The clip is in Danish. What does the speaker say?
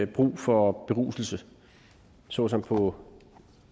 brug for beruselse såsom på